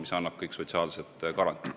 See annab neile kõik sotsiaalsed garantiid.